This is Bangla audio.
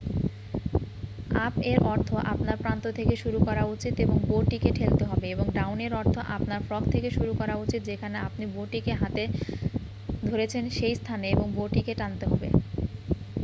আপ-এর অর্থ আপনার প্রান্ত থেকে শুরু করা উচিত এবং বো-টিকে ঠেলতে হবে এবং ডাউন-এর অর্থ আপনার ফ্রগ থেকে শুরু করা উচিত যেখানে আপনি বো-টিকে হাতে ধরেছেন সেই স্থানে এবং বো-টিকে টানতে হবে।